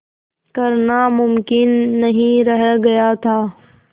करना मुमकिन नहीं रह गया था